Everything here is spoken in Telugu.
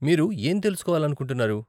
మీరు ఏం తెలుసుకోవాలనుకుంటున్నారు?